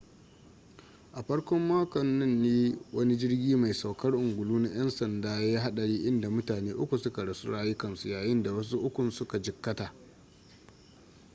a farkon makon nan ne wani jirgi mai saukar ungulu na yan sanda ya yi hadari inda mutane uku suka rasa rayukansu yayinda wasu ukun su ka jikkata